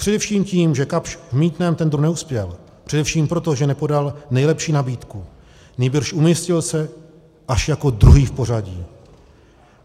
Především tím, že Kapsch v mýtném tendru neuspěl, především proto, že nepodal nejlepší nabídku, nýbrž umístil se až jako druhý v pořadí.